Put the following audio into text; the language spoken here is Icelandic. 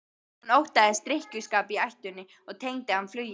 Hún óttaðist drykkjuskap í ættinni og tengdi hann flugi.